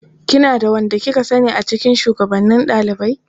Kina da wanda kika sani a cikin shugabannin ɗalibai?